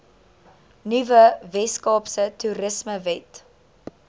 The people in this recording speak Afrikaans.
nuwe weskaapse toerismewet